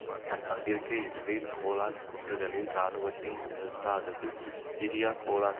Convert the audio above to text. தன் பங்கிற்கு Israel Golan குன்றுகளில் இராணுவத்தை நிறுத்தாதது சிரியா கோலான்